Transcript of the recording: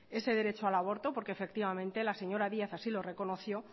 ese derecho al aborto porque efectivamente la señora díaz así lo reconoció